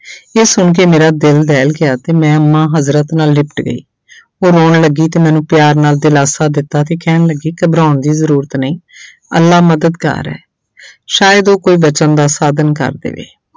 ਇਹ ਸੁਣਕੇ ਮੇਰਾ ਦਿਲ ਦਹਿਲ ਗਿਆ ਤੇ ਮੈਂ ਅੰਮਾ ਹਜ਼ਰਤ ਨਾਲ ਲਿਪਟ ਗਈ ਉਹ ਰੋਣ ਲੱਗੀ ਤੇ ਮੈਨੂੰ ਪਿਆਰ ਨਾਲ ਦਿਲਾਸਾ ਦਿੱਤਾ ਤੇ ਕਹਿਣ ਲੱਗੀ ਘਬਰਾਉਣ ਦੀ ਜ਼ਰੂਰਤ ਨਹੀਂ ਅੱਲਾ ਮਦਦਗਾਰ ਹੈ ਸ਼ਾਇਦ ਉਹ ਕੋਈ ਬਚਣ ਦਾ ਸਾਧਨ ਕਰ ਦੇਵੇ।